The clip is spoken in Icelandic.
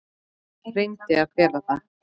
Reyndi að fela það.